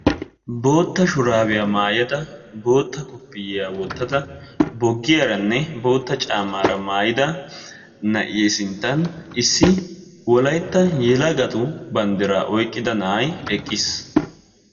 bootta shurabiya maayada bootta kofiyaa wottada bogiyaranne bootta caamara mayida na"ee sinttani issi wolaytta bandirra maayidda na"ayi eqqisi.